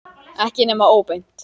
Ekki nema óbeint.